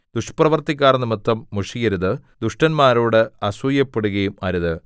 ദുഷ്പ്രവൃത്തിക്കാർനിമിത്തം മുഷിയരുത് ദുഷ്ടന്മാരോട് അസൂയപ്പെടുകയും അരുത്